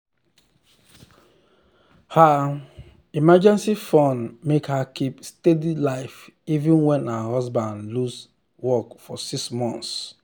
her emergency fund make her keep steady life even when her husband lose work for six months.